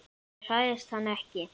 Ég hræðist hann ekki.